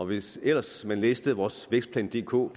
hvis ellers man læste vores vækstplan dk